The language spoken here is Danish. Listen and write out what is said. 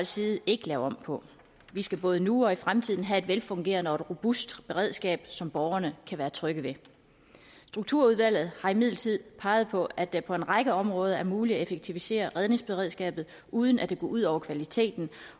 side ikke lave om på vi skal både nu og i fremtiden have et velfungerende og robust beredskab som borgerne kan være trygge ved strukturudvalget har imidlertid peget på at det på en række områder er muligt at effektivisere redningsberedskabet uden at det går ud over kvaliteten